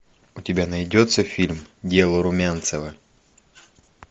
у тебя найдется фильм дело румянцева